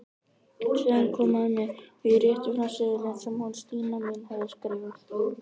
Senn kom að mér og ég rétti fram seðilinn sem hún Stína mín hafði skrifað.